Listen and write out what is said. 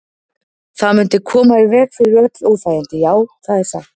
Það mundi koma í veg fyrir öll óþægindi, já, það er satt.